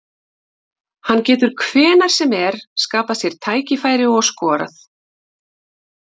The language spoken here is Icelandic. Hann getur hvenær sem er skapað sér tækifæri og skorað.